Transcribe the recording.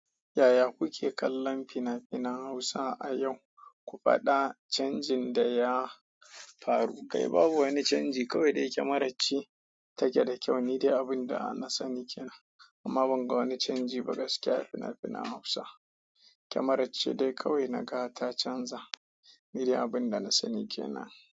Yaya kuke kallon fina-finan Hausa a yau? Ku faɗa canjin da ya faru. Kai babu wani canji. Kawai dai kyamarar ce take da kyau. Ni dai abin da na sani ke nan, amma ban ga wani canji ba gaskiya a fina-finan Hausa. Kyamarar ce dai kawai naga ta canza. Ni dai abin da na sani ke nan.